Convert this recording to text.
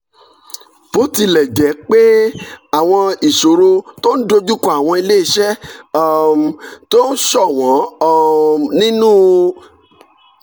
bó tilẹ̀ jẹ́ pé àwọn ìṣòro tó ń dojú kọ àwọn iléeṣẹ́ um tó ń ṣọ̀wọ́n um nínú